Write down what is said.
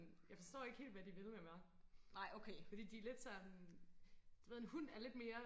jeg forstår ikke helt hvad de vil med mig fordi de lidt sådan du ved en hund er lidt mere